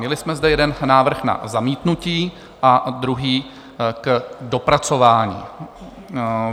Měli jsme zde jeden návrh na zamítnutí a druhý k dopracování.